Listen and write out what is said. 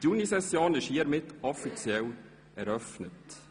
Damit ist die Junisession offiziell eröffnet.